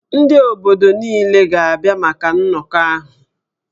Ndị obodo niile ga-abịa maka nnọkọ ahụ